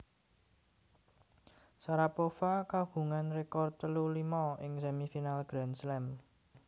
Sharapova kagungan rekor telu limo ing semifinal Grand Slam